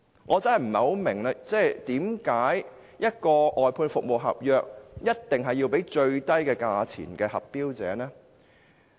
我真的不明白，為何外判服務合約一定要批給價格最低的投標者呢？